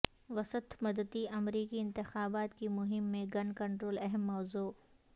وسط مدتی امریکی انتخابات کی مہم میں گن کنٹرول اہم موضوع